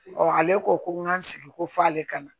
ale ko ko n k'an sigi ko f'ale ka na